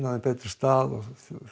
þeim betri stað og